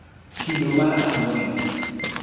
kido mar ang'wen